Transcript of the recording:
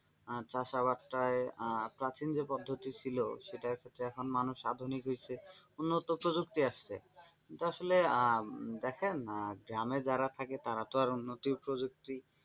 চাষাবাদ টায় প্রাচীন যে পদ্ধতি ছিল সেটা ক্ষেত্রে এখন মানুষ আধুনিক হইছে উন্নত প্রযুক্তি আসছে কিন্তু আসলে আহ দেখেন গ্রামে যারা থাকেন তারা তো আর উন্নত প্রযুক্তি,